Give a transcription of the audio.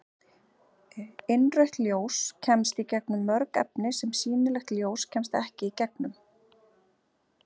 Innrautt ljós kemst í gegnum mörg efni sem sýnilegt ljós kemst ekki í gegnum.